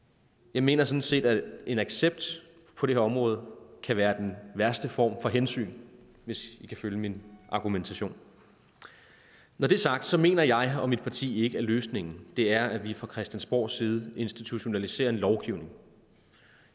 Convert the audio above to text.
jeg mener sådan set at en accept på det her område kan være den værste form for hensyn hvis i kan følge min argumentation når det er sagt så mener jeg og mit parti ikke at løsningen er at vi fra christiansborgs side institutionaliserer en lovgivning